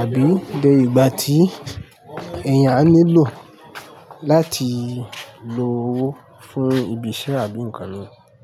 àbí dé ìgbà tí èèyàn a nílò láti lo owó fún ibi iṣẹ́ àbí ǹkan m.